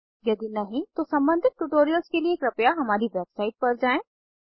यदि नहीं तो सम्बंधित ट्यूटोरियल्स के लिए कृपया हमारी वेबसाइट पर जाएँ